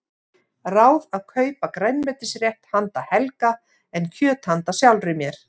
Ráð að kaupa grænmetisrétt handa Helga en kjöt handa sjálfri mér.